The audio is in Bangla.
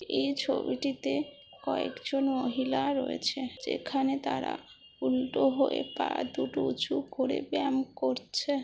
এই ছবিটিতে কয়েকজন মহিলা রয়েছে যেখানে তারা উল্টো হয়ে পা দুটো উঁচু করে ব্যায়াম করছে।